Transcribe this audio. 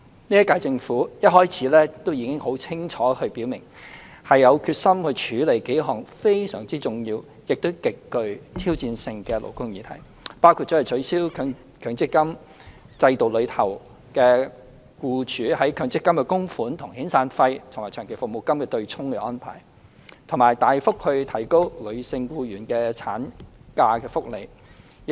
現屆政府一開始便已清楚表明，有決心處理數項非常重要亦極具挑戰性的勞工議題，包括取消強制性公積金制度下僱主的強制性供款與遣散費及長期服務金的對沖安排，以及大幅提高女性僱員的產假福利。